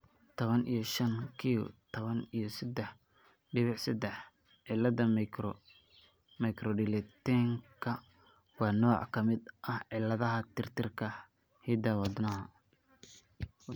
Tawan iyo shaan q tawan iyo sedaax diwiic sedaax cillada microdeletionka waa nooc ka mid ah cilladaha tirtirka hidda-wadaha.